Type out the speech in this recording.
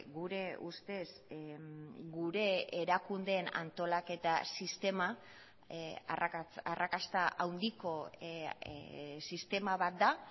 gure ustez gure erakundeen antolaketa sistema arrakasta handiko sistema bat da